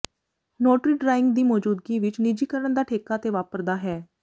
notary drawing ਦੀ ਮੌਜੂਦਗੀ ਵਿਚ ਨਿੱਜੀਕਰਨ ਦਾ ਠੇਕਾ ਤੇ ਵਾਪਰਦਾ ਹੈ